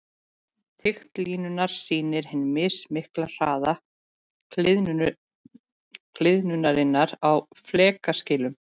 Þykkt línunnar sýnir hinn mismikla hraða gliðnunarinnar á flekaskilunum.